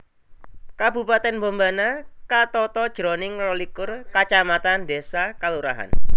Kabupatèn Bombana katata jroning rolikur kacamatan désa/kalurahan